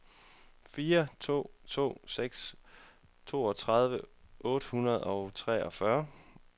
fire to to seks toogtredive otte hundrede og treogfyrre